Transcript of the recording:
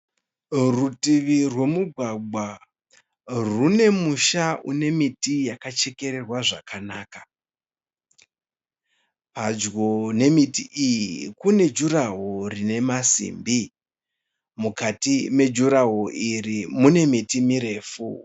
Rutivi rwemugwagwa rune musha une miti yakachekererwa zvakanaka. Padyo nemiti iyi kune jurahoro rine masimbi. Mukati mejurahoro iri mune miti mirefu.